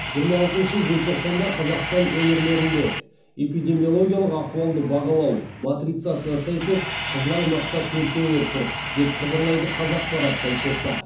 жиырма алтыншы желтоқсанда қазақстан өңірлерінде эпидемиологиялық ахуалды бағалау матрицасына сәйкес қызыл аймақта төрт өңір тұр деп хабарлайды қазақпарат тілшісі